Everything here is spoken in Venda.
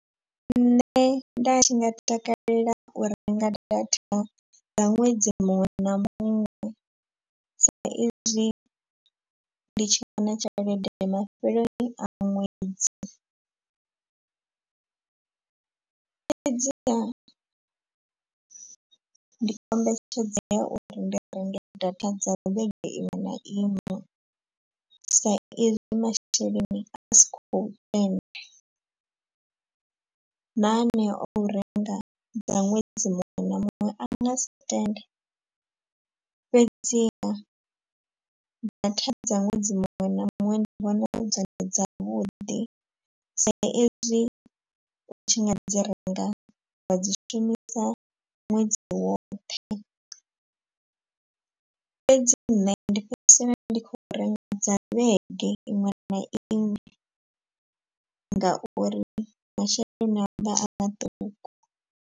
Nṋe nda tshi nga takalela u renga data dza ṅwedzi muṅwe na muṅwe sa izwi ndi tshi wana tshelede mafheleloni a ṅwedzi. Fhedziha ndi kombetshedzea uri ndi renge data dza vhege iṅwe na iṅwe saizwi masheleni a sikho tenda. Na aneo o renga dza ṅwedzi muṅwe na muṅwe a nga si tende fhedziha data dza ṅwedzi muṅwe na muṅwe ndi vhona dzone dzavhuḓi. Sa ezwi u tshi nga dzi renga nga dzi shumisa ṅwedzi woṱhe. Fhedzi nṋe ndi fhedzisela ndi khou renga dza vhege iṅwe na iṅwe ngauri masheleni avha a maṱuku.